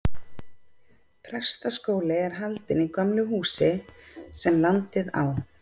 Prestaskóli er haldinn í gömlu húsi, sem landið á.